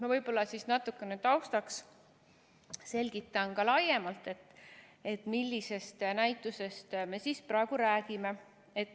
" Ma võib-olla natukene taustaks selgitan ka laiemalt, millisest näitusest me praegu räägime.